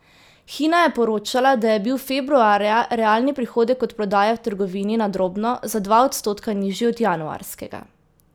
Hina je poročala, da je bil februarja realni prihodek od prodaje v trgovini na drobno za dva odstotka nižji od januarskega.